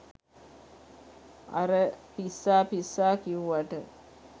අර පිස්සා පිස්සා කිව්වට